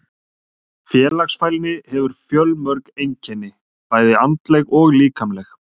Félagsfælni hefur fjölmörg einkenni, bæði andleg og líkamleg.